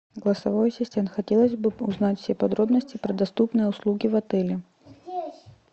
голосовой ассистент хотелось бы узнать все подробности про доступные услуги в отеле